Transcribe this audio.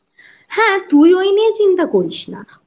হ্যাঁ তুই ওই নিয়ে চিন্তা করিস না